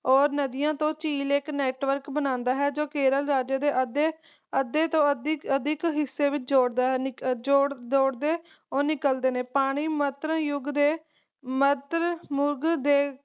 ਔਰ ਨਦੀਆਂ ਤੋਂ ਝੀਲ ਇਕ network ਬਣਾਉਂਦਾ ਹੈ ਜੋ ਕੇਰਲ ਰਾਜੇ ਦੇ ਅੱਧੇ ਤੋਂ ਅਧਿਕ ਹਿੱਸੇ ਤੋਂ ਜੋੜਦਾ ਹੈ ਜੋੜਦੇ ਔਰ ਨਿਕਲਦੇ ਨੇ ਪਾਣੀ ਮਤਰਯੁਗ ਦੇ ਮਤਰਮੁਗ ਦੇ